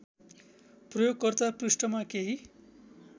प्रयोगकर्ता पृष्ठमा केही